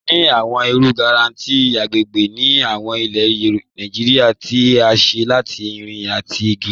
A ni awọn iru grẹ́tẹ̀sì agbègbè ni awọn ilẹ̀ Nàìjíríà tí à ṣé látì irin àtì igi.